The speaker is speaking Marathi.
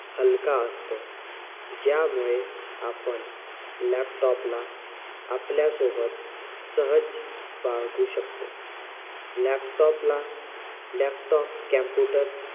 हलका ज्यामुळे आपण laptop ला आपल्या सोबत सहज शकतो. laptop ला laptop, computer